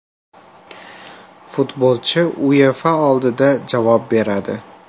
Futbolchi UEFA oldida javob beradi.